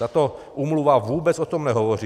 Tato úmluva vůbec o tom nehovoří.